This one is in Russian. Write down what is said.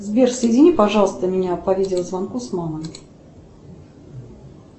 сбер соедини пожалуйста меня по видеозвонку с мамой